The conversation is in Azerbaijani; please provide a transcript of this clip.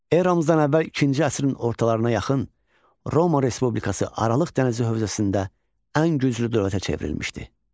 Eramızdan əvvəl ikinci əsrin ortalarına yaxın Roma Respublikası Aralıq dənizi hövzəsində ən güclü dövlətə çevrilmişdi.